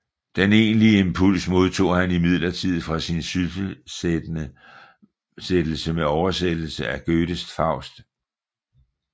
Den egentlige impuls modtog han imidlertid fra sin sysselsættelse med oversættelse af Goethes Faust